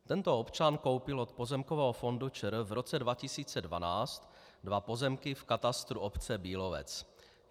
Tento občan koupil od Pozemkového fondu ČR v roce 2012 dva pozemky v katastru obce Bílovec.